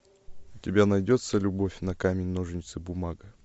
у тебя найдется любовь на камень ножницы бумага